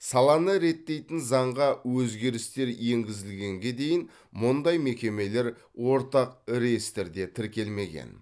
саланы реттейтін заңға өзгерістер енгізілгенге дейін мұндай мекемелер ортақ реестрде тіркелмеген